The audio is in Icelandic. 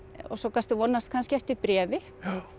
og svo gastu vonast kannski eftir bréfi